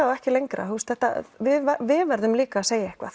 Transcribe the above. og ekki lengra við verðum líka að segja eitthvað